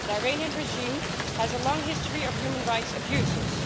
The Iranian regime has a long history of human rights abuses.